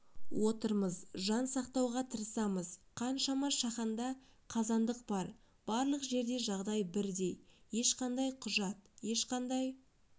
отырмыз жан сақтауға тырысамыз қаншама шаханда қазандық бар барлық жерде жағдай бірдей ешқандай құжат ешқандай